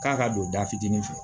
K'a ka don da fitinin fɛ